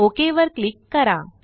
okay वर click करा